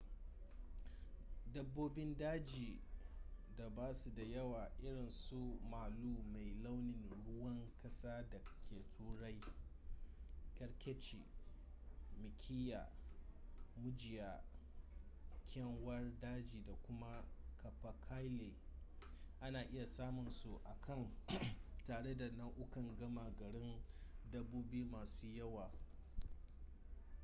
dabbobin daji da ba su da yawa irin su malu mai launin ruwan kasa da ke turai kerkeci mikiya mujiya kyanwar daji da kuma capercaillie a na iya samun su a can tare da nau'ukan gama garin dabbobi masu yawa